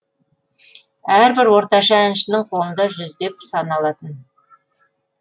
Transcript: әрбір орташа әншінің қолында жүздеп саналатын